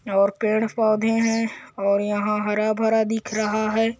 और पेड़-पौधे है और यहाँ हरा-भरा दिख रहा है।